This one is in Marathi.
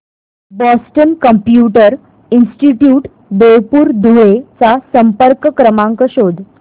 Boston computer institute Devpur Dhule चा संपर्क क्रमांक शोध